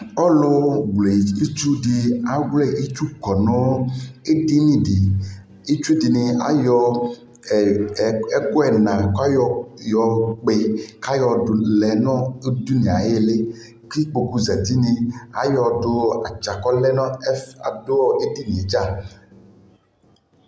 ɔlʋ wlɛ itsu di awlɛ itsʋ kɔnʋ ɛdini di, itsʋ dini ayɔ ɛkʋ ɛna kʋ ayɔ ɔkpɔɛ kʋ ayɔ dʋ nʋ ɛdini ayili kʋ ayɔ ikpɔkʋ zati ayɔ dʋ dza kɔlɛ ɛfɛ, kʋ ɔdʋ ɛdini dza